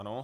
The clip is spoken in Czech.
Ano.